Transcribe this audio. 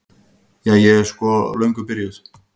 Ja, ég er sko löngu byrjuð.